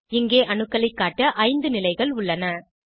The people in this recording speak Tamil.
இங்கே அணுக்களைக் காட்ட 5 நிலைகள் உள்ளன